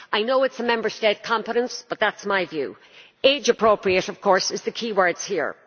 I know it is a Member State competence, but that is my view. Age appropriate', of course, are the key words here.